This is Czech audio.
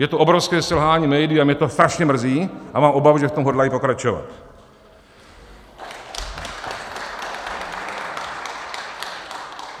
Je to obrovské selhání médií a mě to strašně mrzí a mám obavu, že v tom hodlají pokračovat. .